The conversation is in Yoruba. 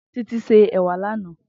Titi sé èwà lànã